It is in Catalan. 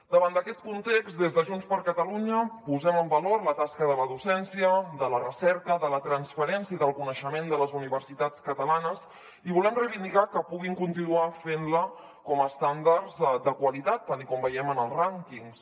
davant d’aquest context des de junts per catalunya posem en valor la tasca de la docència de la recerca de la transferència del coneixement de les universitats catalanes i volem reivindicar que puguin continuar fent la com a estàndards de qualitat tal com veiem en els rànquings